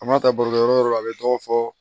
A ma taa barokɛyɔrɔ la a bɛ dɔw fɔ